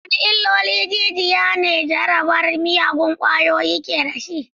Wadanne illolin jijiya ne jarabar miyagun ƙwayoyi ke da shi?